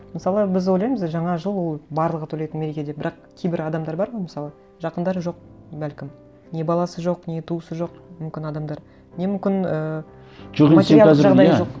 мысалы біз ойлаймыз жаңа жыл ол барлығы тойлайтын мереке деп бірақ кейбір адамдар бар ғой мысалы жақындары жоқ бәлкім не баласы жоқ не туысы жоқ мүмкін адамдар не мүмкін ыыы материалдық жағдайы жоқ